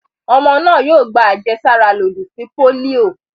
Ọmọ náà yóò gba àjẹsára lòdì sí pólíò.